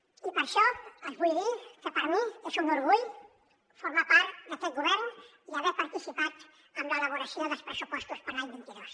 i per això els vull dir que per mi és un orgull formar part d’aquest govern i haver participat en l’elaboració dels pressupostos per a l’any vint dos